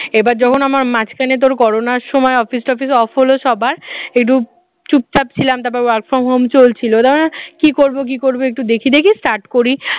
এবার যখন আমার মাঝখানে তোর করোনার সময় office টফিস off হল সবার একটু চুপচাপ ছিলাম তারপরও work from home চলছিল তখন আর কি করব একটু দেখি দেখি start করি